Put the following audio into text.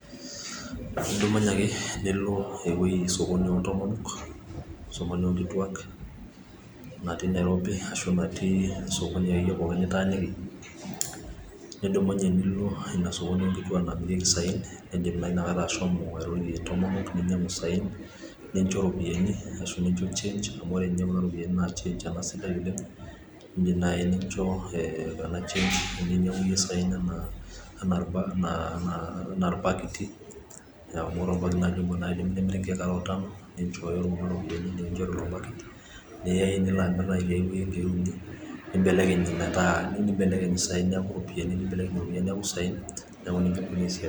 idumunye ake nilo sokoni oo ndomonok, sokoni oo nkituak natii nairobi ashu sokoni akeyie pooki nitaniki nidumunye nilo inasokoni oonkituak nitaaniki namirieki isaen nidim naa inakata ashomo airorie intomonok ninyang'u isaen nicho iropiyiani, ashu nicho change ninyang'u iyie saen anaa irbakiti amu ore naaji orbakit obo nemiri inkeek are otano, nichooyo kuna ropiyiani nikichori orbakit niya iyie nilo amir tiai weji ikeek uni ,nibelekeng' isaen neeku iropiyiani, nibelekeng' iropiyiani neeku isaen.